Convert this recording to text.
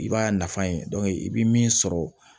I b'a nafa ye i bi min sɔrɔ